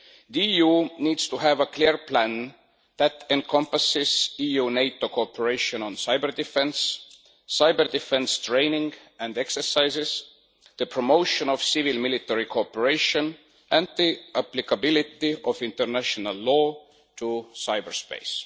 The EU needs to have a clear plan that encompasses EU-NATO cooperation on cyber defence, cyber defence training and exercises, the promotion of civil military cooperation and the applicability of international law to cyberspace.